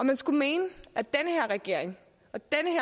man skulle mene at regering